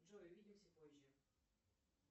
джой увидимся позже